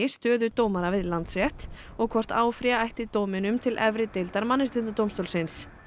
stöðu dómara við Landsrétt og hvort áfrýja ætti dóminum til efri deildar Mannréttindadómstólsins